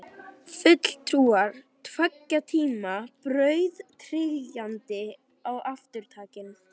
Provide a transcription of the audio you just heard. Fulltrúar tveggja tíma, brautryðjandinn og arftakinn.